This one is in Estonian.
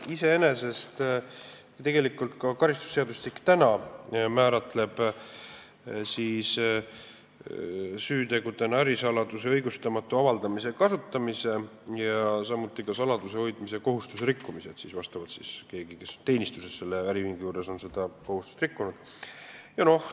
Iseenesest määratleb ka karistusseadustik praegu süütegudena ärisaladuse õigustamata avaldamise ja kasutamise, samuti saladuse hoidmise kohustuse rikkumise, st kui keegi on äriühingu juures teenistuses olles seda kohustust rikkunud.